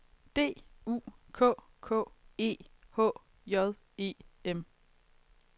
D U K K E H J E M